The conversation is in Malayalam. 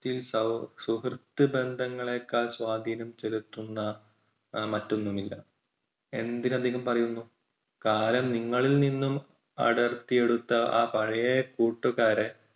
സൌഹ്~സുഹൃത്ത് ബന്ധങ്ങളേക്കാൾ സ്വാധീനം ചെലുത്തുന്ന മറ്റൊന്നുമില്ല. എന്തിനധികം പറയുന്നു കാലം നിങ്ങളിൽ നിന്നും അടർത്തിയെടുത്ത ആ പഴയ കൂട്ടുകാരെ